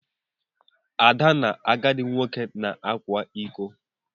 Ada na agadi nwoke na-akwa ịkọ.